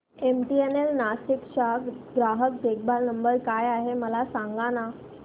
MTNL Nashik चा ग्राहक देखभाल नंबर काय आहे मला सांगाना